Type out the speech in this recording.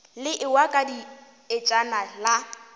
le ewa ka dietšana la